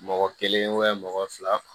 Mɔgɔ kelen mɔgɔ fila